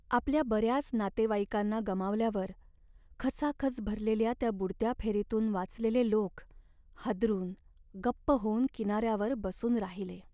आपल्या बऱ्याच नातेवाईकांना गमावल्यावर, खचाखच भरलेल्या त्या बुडत्या फेरीतून वाचलेले लोक हादरून गप्प होऊन किनाऱ्यावर बसून राहिले.